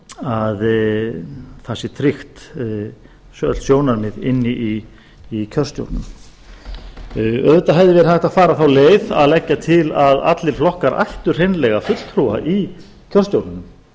hagsmunamál allra að það sé tryggð öll sjónarmið inni í kjörstjórninni auðvitað hefði verið hægt að fara þá leið að leggja til að allir flokkar ættu hreinlega fulltrúa í kjörstjórninni